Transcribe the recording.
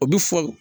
O bi fɔ